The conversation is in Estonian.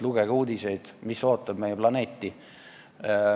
Lugege uudiseid, mis ootab meie planeeti.